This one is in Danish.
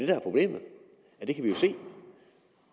der er problemet det kan vi jo se